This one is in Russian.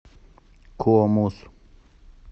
комус